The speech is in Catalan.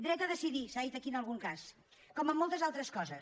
dret a decidir s’ha dit aquí en algun cas com en moltes altres coses